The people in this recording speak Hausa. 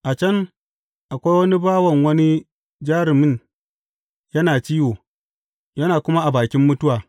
A can, akwai wani bawan wani jarumin yana ciwo, yana kuma a bakin mutuwa.